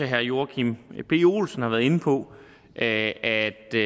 herre joachim b olsen også var inde på at at det